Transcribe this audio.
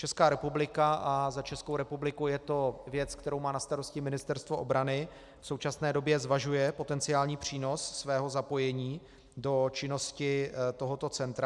Česká republika, a za Českou republiku je to věc, kterou má na starosti Ministerstvo obrany, v současné době zvažuje potenciální přínos svého zapojení do činnosti tohoto centra.